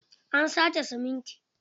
An sace siminti.